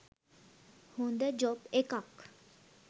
හොඳ ජොබ් එකක්.